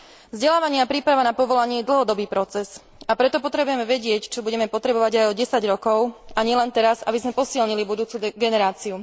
Vzdelávanie a príprava na povolanie je dlhodobý proces, a preto potrebujeme vedieť, čo budeme potrebovať aj o desať rokov, a nielen teraz, aby sme posilnili budúcu generáciu.